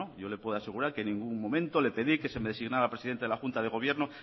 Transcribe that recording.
yo le puedo asegurar que en ningún momento le pedí que se me designara presidente de la junta de gobierno